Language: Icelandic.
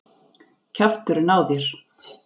Kjafturinn á þér!